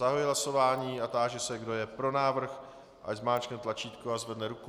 Zahajuji hlasování a táži se, kdo je pro návrh, ať zmáčkne tlačítko a zvedne ruku.